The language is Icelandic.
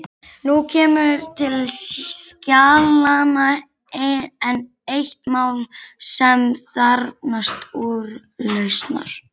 Nú kemur til skjalanna enn eitt mál sem þarfnast úrlausnar.